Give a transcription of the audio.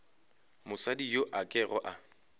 mosadi yo a kego a